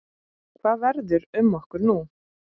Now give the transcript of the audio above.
Hvað verður um okkur nú?